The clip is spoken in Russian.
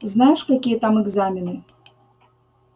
знаешь какие там экзамены